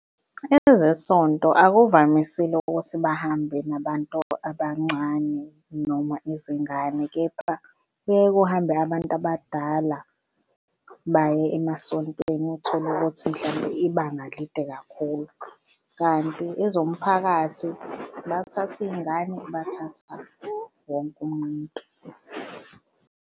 Ezesonto akuvamisile ukuthi bahambe nabantu abancane noma izingane, kepha kuye kuhambe abantu abadala baye emasontweni uthole ukuthi mhlampe ibanga lide kakhulu, kanti ezomphakathi bathatha iy'ngane bathatha wonke umuntu.